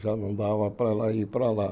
Já não dava para ela ir para lá.